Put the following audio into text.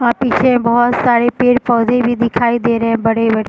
और पीछे बहुत सारे पेड़-पौधे भी दिखाई दे रहे बड़े-बड़े ।